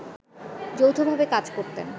যৌথভাবে কাজ করতেন